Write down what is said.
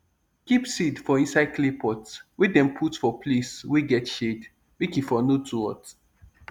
keep seed for inside clay pot wey dem put for place wey get shade make e for no too hot